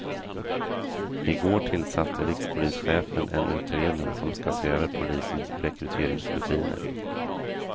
I går tillsatte rikspolischefen en utredning ska se över polisens rekryteringsrutiner.